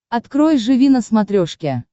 открой живи на смотрешке